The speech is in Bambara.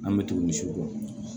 An bɛ tugu misiw kɔ